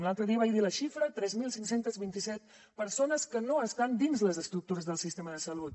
l’altre dia en vaig dir la xifra tres mil cinc cents i vint set persones que no estan dins les estructures del sistema de salut